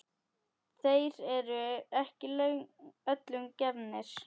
Þeir eru ekki öllum gefnir.